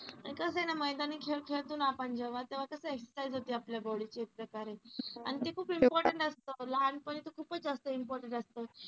आणि कस आहे ना मैदानी खेळ खेळतो ना आपण जेव्हा तेव्हा कस exercise होते आपल्या body ची एक प्रकारे आणि ते खूप important असतं लहानपणी तर खूपच जास्त important असतं.